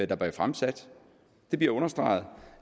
der bliver fremsat det bliver understreget